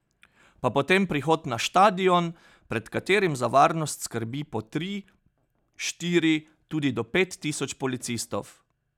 Pa potem prihod na štadion, pred katerim za varnost skrbi po tri, štiri, tudi do pet tisoč policistov.